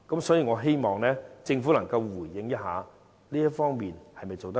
所以，我希望政府能夠回應這方面是否做得不足夠？